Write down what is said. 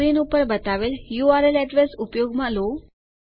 screen ઉપર બતાવેલ URL address ઉપયોગમાં લો